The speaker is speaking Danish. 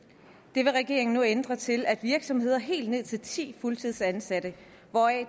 det vil regeringen nu ændre til at virksomheder med helt ned til ti fuldtidsansatte hvoraf